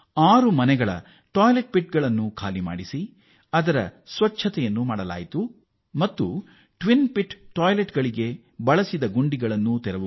ಆರು ಮನೆಗಳ ಶೌಚಗುಂಡಿಗಳನ್ನು ಖಾಲಿ ಮಾಡಿ ಶುಚಿಗೊಳಿಸಲಾಯಿತು ಮತ್ತು ಅಧಿಕಾರಿಗಳು ಸ್ವತಃ ಎರಡು ಗುಂಡಿಗಳ ಶೌಚಾಲಯದ ಬಳಕೆಯ ಪ್ರಾತ್ಯಕ್ಷಿಕೆಯನ್ನು ತೋರಿಸಿದರು